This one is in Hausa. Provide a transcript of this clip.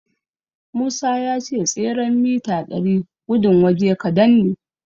Musa ya ce tseren mita ɗari gudun waje kadan ne.